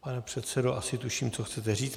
Pane předsedo, asi tuším, co chcete říct.